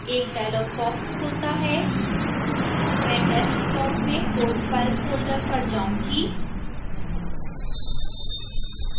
एक dialog box खुलता है मैं desktop में code file फोल्डर पर जाऊंगी